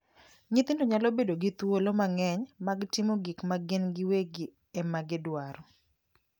Nyithindo nyalo bedo gi thuolo mang'eny mag timo gik ma gin giwegi ema gidwaro.